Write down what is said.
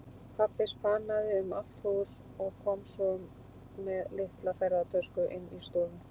Pabbi spanaði um allt hús og kom svo með litla ferðatösku inn í stofu.